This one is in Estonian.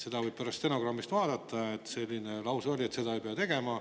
Seda võib pärast stenogrammist vaadata, et selline lause oli, et seda ei pea tegema.